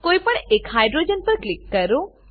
કોઈપણ એક હાઇડ્રોજન પર ક્લિક કરો